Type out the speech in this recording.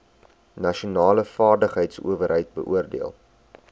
nasionale vaardigheidsowerheid beoordeel